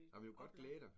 Ej men du kan godt glæde dig